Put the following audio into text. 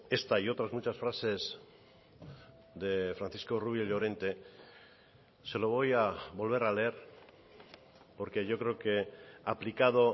esta y otras muchas frases de francisco rubio llorente se lo voy a volver a leer porque yo creo que aplicado